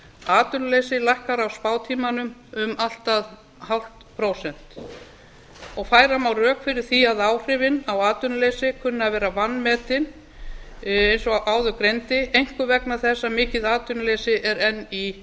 atvinnuleysi lækkar á spátímanum um allt að hálft prósent færa má rök fyrir því að áhrifin á atvinnuleysi kunni að vera vanmetin eins og áður greindi einkum vegna þess að mikið atvinnuleysi er enn í